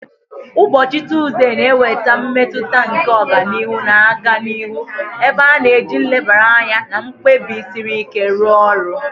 Ụbọchị Tuzdee na-eweta mmetụta nke ọganihu na-aga n'ihu, ebe a na-eji nlebara anya na mkpebi siri ike rụọ ọrụ